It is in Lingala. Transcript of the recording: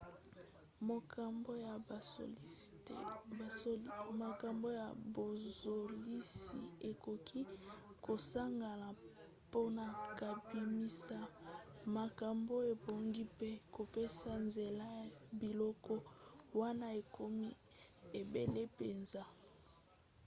makambo ya bozalisi ekoki kosangana mpona kobimisa makambo ebongi mpe kopesa nzela na biloko wana ekomi ebele mpenza